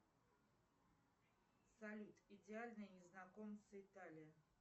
салют идеальные незнакомцы италия